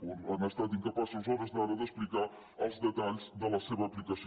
o han estat inca·paços a hores d’ara d’explicar els detalls de la seva aplicació